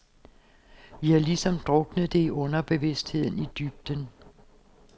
Vi har ligesom druknet det i underbevidstheden, i dybden.